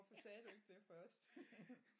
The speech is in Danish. Hvorfor sagde du ikke det først